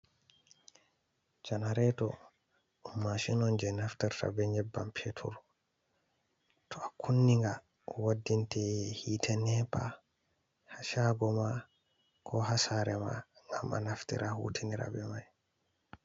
Janareto ɗum mashin on je naftirta be nyebbam petur. To a kunni nga waddinte hite nepa ha shago ma, ko ha sare ma ngam a naftira hutinira be mai.